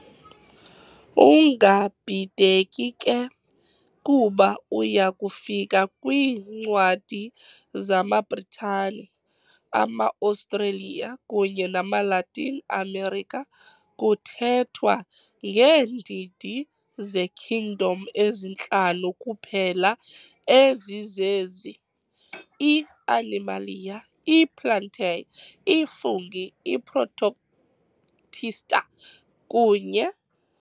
ungabhideki ke, kuba uyakufika kwiincwadi zamaBritane, amaAustralia kunye namaLatin Amerika kuthethwa ngeendidi ze"kingdom" ezintlanu kuphela ezizezi- i-Animalia, i-Plantae, i-Fungi, i-Protoctista, kunye ].